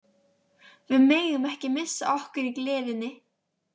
Við megum ekki missa okkur í gleðinni.